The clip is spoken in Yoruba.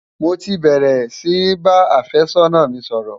mọ tí bèrè sí bá afe sónà mí sòrò